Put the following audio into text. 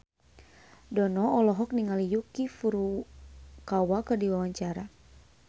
Dono olohok ningali Yuki Furukawa keur diwawancara